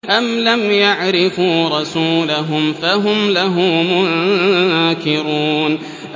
أَمْ لَمْ يَعْرِفُوا رَسُولَهُمْ فَهُمْ لَهُ مُنكِرُونَ